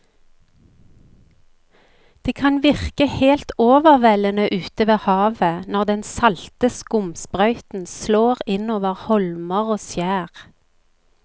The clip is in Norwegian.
Det kan virke helt overveldende ute ved havet når den salte skumsprøyten slår innover holmer og skjær.